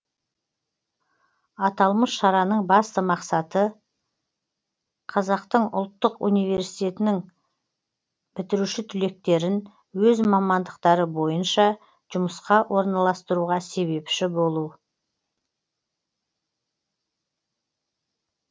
аталмыш шараның басты мақсаты қазақтың ұлттық университетінің бітіруші түлектерін өз мамандықтары бойынша жұмысқа орналастыруға себепші болу